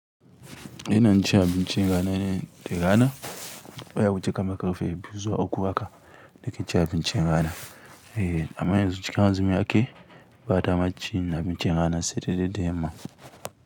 Ina cin abincin rana ne da rana baya wuce kamar ƙarfe biyu zuwa uku haka nakecin abincin rana. Eh amma yanzu cikin azumi ake, ba damar cin abinci sai dare da yamma.